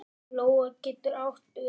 Lóa getur átt við